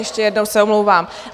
Ještě jednou se omlouvám.